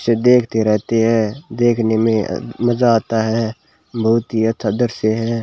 इसे देखते रहते है देखने में मजा आता है बहुत ही अच्छा दृश्य है।